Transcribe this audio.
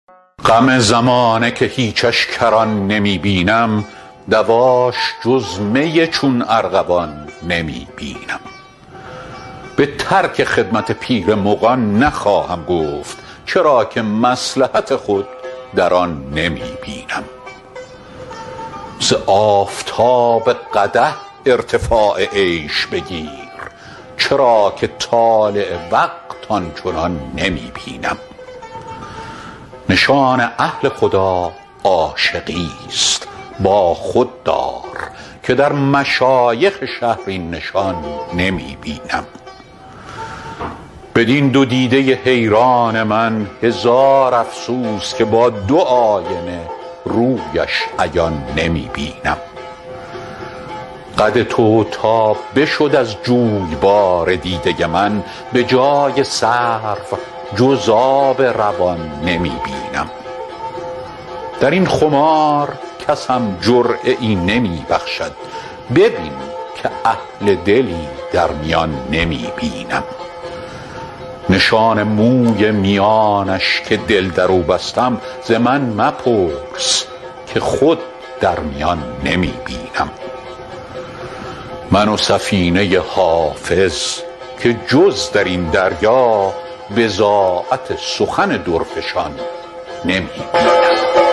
غم زمانه که هیچش کران نمی بینم دواش جز می چون ارغوان نمی بینم به ترک خدمت پیر مغان نخواهم گفت چرا که مصلحت خود در آن نمی بینم ز آفتاب قدح ارتفاع عیش بگیر چرا که طالع وقت آن چنان نمی بینم نشان اهل خدا عاشقیست با خود دار که در مشایخ شهر این نشان نمی بینم بدین دو دیده حیران من هزار افسوس که با دو آینه رویش عیان نمی بینم قد تو تا بشد از جویبار دیده من به جای سرو جز آب روان نمی بینم در این خمار کسم جرعه ای نمی بخشد ببین که اهل دلی در میان نمی بینم نشان موی میانش که دل در او بستم ز من مپرس که خود در میان نمی بینم من و سفینه حافظ که جز در این دریا بضاعت سخن درفشان نمی بینم